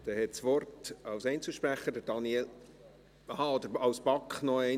Dann hat Daniel Klauser als Kommissionssprecher noch einmal das Wort.